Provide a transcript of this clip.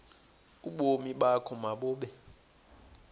ubomi bakho mabube